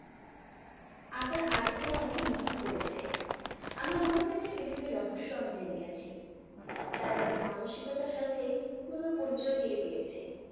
আপনার আর্টিকেল আমাকে মুগ্ধ করেছে। আমার মনে হয়েছে পৃথিবীর রহস্য আমি জেনে গেছি। তারা তাদের মানসিকতার সাথে পুন পরিচয় দিয়ে দিয়েছে।